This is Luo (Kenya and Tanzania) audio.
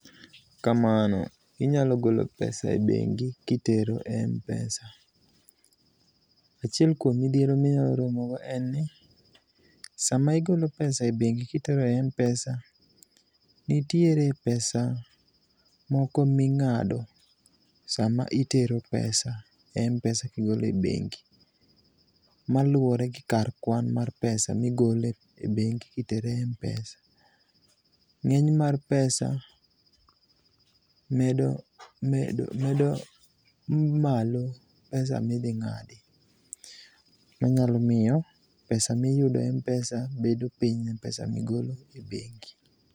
Kamano, inyalo golo pesa e bengi kitero e Mpesa. Achiel kuom midhiero minyalo romo godo en ni sama igolo pesa e bengi kitero e Mpesa, nitiere pesa moko mingado sama itero pesa e Mpesa kigolo e bengi maluore gi kar kwan ma pesa migolo e bengi kitero e Mpesa. Ngeny mar pesa medo malo pesa ma idhi ngadi manyalo miyo pesa miyudo e Mpesa bedo piny ne pesa migolo e bengi